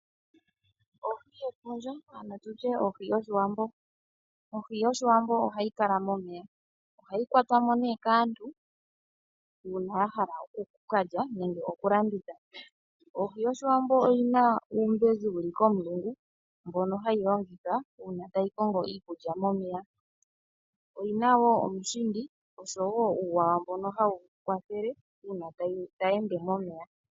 Ohi yefundja ano tutye ohi yoshiwambo . Ohi yoshiwambo ohayi kala momeya. Ohayi kwatwa mo nee kaantu uuna ya hala oku kalya nenge oku landitha. Ohi yoshiwambo oyina uumbezi wuli komulungu mbono hayi longitha uuna tayi kongo iikulya momeya. Oyina woo omushindi osho woo uuwawa mbono hawu kwathele uuna tayi ende momeya .